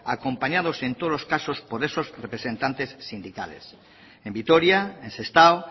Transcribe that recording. acompañados en todos los casos por esos representantes sindicales en vitoria en sestao